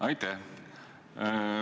Aitäh!